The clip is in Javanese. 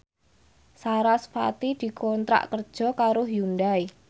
sarasvati dikontrak kerja karo Hyundai